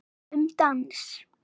Um dans